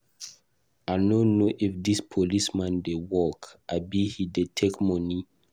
I no know if dis police man dey work abi he dey take money.